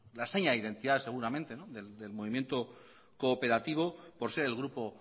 la seña de identidad seguramente del movimiento cooperativo por ser el grupo